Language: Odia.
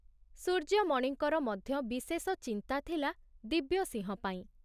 ସୂର୍ଯ୍ୟମଣିଙ୍କର ମଧ୍ୟ ବିଶେଷ ଚିନ୍ତା ଥିଲା ଦିବ୍ୟସିଂହ ପାଇଁ।